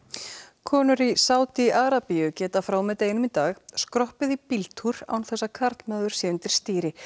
konur í Sádi Arabíu geta frá og með deginum í dag skroppið í bíltúr án þess að karlmaður sé undir stýri